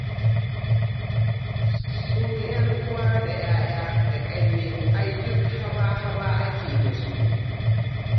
Sun 'yan'uwa da yayye da ƙanne ai duk haba-haba ake yi da su.